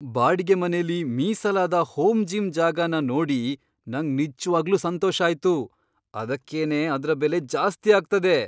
ಬಾಡಿಗೆ ಮನೆಲಿ ಮೀಸಲಾದ ಹೋಮ್ ಜಿಮ್ ಜಾಗನ ನೋಡಿ ನಂಗ್ ನಿಜ್ವಾಗ್ಲೂ ಸಂತೋಷ ಆಯ್ತು, ಅದಕ್ಕೇನೆ ಅದ್ರ ಬೆಲೆ ಜಾಸ್ತಿ ಆಗ್ತದೆ.